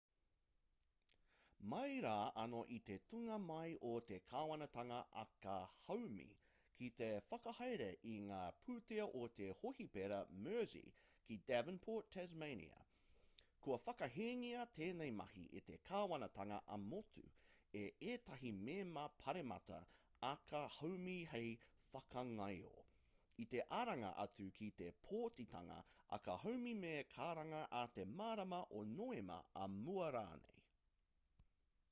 mai rā anō i te tūnga mai o te kāwanatanga aka haumi ki te whakahaere i ngā pūtea o te hōhipera mersey ki devonport tasmania kua whakahēngia tēnei mahi e te kāwanatanga ā-motu e ētahi mema pāremata aka haumi hei whakangaio i te aranga atu ki te pōtitanga aka haumi me karanga ā te marama o noema ā mua rānei